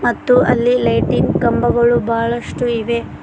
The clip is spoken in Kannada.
ಮತ್ತು ಅಲ್ಲೇ ಲೈಟಿನ್ ಕಂಬಗಳು ಬಹಳಷ್ಟು ಇವೆ.